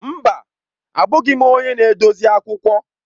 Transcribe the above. Mba! Abụghị m onye na-edozi akwụkwọ.